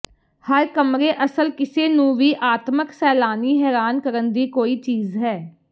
ਹਰ ਕਮਰੇ ਅਸਲ ਕਿਸੇ ਨੂੰ ਵੀ ਆਤਮਕ ਸੈਲਾਨੀ ਹੈਰਾਨ ਕਰਨ ਦੀ ਕੋਈ ਚੀਜ਼ ਹੈ